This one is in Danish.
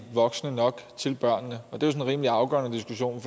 voksne nok til børnene og det er en rimelig afgørende diskussion